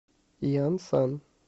янсан